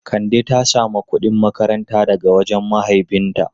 Kande ta samu kudin makaranta daga wajen mahaifinta.